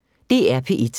DR P1